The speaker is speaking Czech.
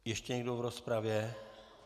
Ještě někdo v rozpravě?